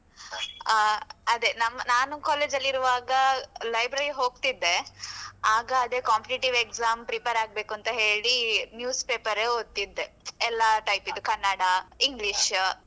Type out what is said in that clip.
ಹ ಅದೇ ನಾನು college ಅಲ್ಲಿ ಇರುವಾಗ library ಹೋಗ್ತಿದ್ದೆ ಆಗ ಅದೇ competitive exam prepare ಆಗ್ಬೇಕು ಅಂತ ಹೇಳಿ news paper ಏ ಓದ್ತಿದ್ದೆ. ಎಲ್ಲ type ದ್ದು ಕನ್ನಡ, English.